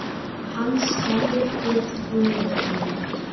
Hann stendur við rúmið mitt.